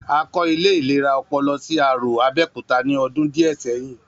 A kọ́ ilé ìlera ọpọlọ sí Arò, Abẹ́òkúta ní ọdún díẹ̀ sẹ́yìn